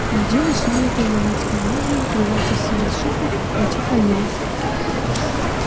неделю сумеет он ломать комедию кривлять из себя суку петю хазина